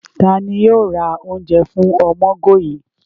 Tani yoo ra ounje fun Omogoye?